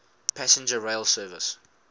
passenger rail service